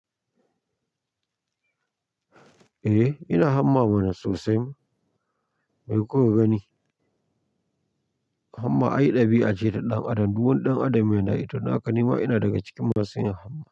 Eh, ina hamma mana sosai. Mai kuka gani? Hamma ai ɗabi'a ce ta ɗan adam. Duk wan ɗan adam yana yin ta. To dan haka ina ina daga cikin masu yin hamma.